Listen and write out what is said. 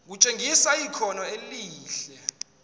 kutshengisa ikhono elihle